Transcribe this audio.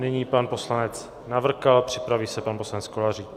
Nyní pan poslanec Navrkal, připraví se pan poslanec Kolářík.